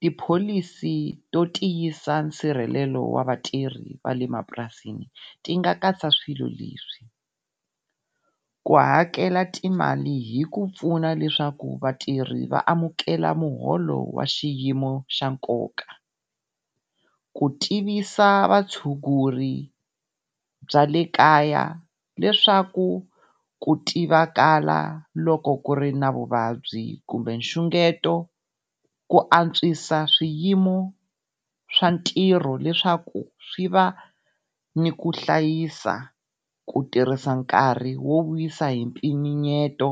Tipholisi to tiyisisa nsirhelelo wa vatirhi va le mapurasini, ti nga katsa swilo leswi, ku hakela timali hi ku pfuna leswaku vatirhi va amukela muholo wa xiyimo xa nkoka. Ku tivisa vatshunguri bya le kaya leswaku ku tiva kala loko ku ri na vuvabyi kumbe xungeto ku antswisa swiyimo swa ntirho leswaku swi va ni ku hlayisa ku tirhisa nkarhi wo wisa hi mpimanyeto